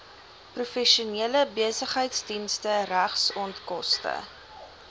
professionele besigheidsdienste regsonkoste